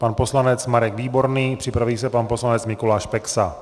Pan poslanec Marek Výborný, připraví se pan poslanec Mikuláš Peksa.